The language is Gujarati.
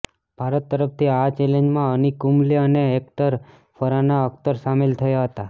ભારત તરફથી આ ચેલેન્જમાં અનિક કુંમલે અને એક્ટર ફરાહાન અક્તર સામેલ થયા હતા